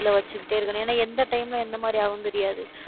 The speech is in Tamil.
கையில வச்சுக்கிட்டே இருக்கணும். ஏன்னா, எந்த time ல எந்த மாதிரி ஆகும்னு தெரியாது.